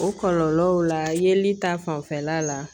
O kɔlɔlɔw la yeli ta fanfɛla la